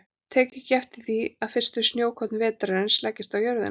Tek ekki eftir því að fyrstu snjókorn vetrarins leggjast á jörðina.